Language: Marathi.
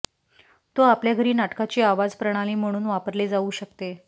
तो आपल्या घरी नाटकाची आवाज प्रणाली म्हणून वापरले जाऊ शकते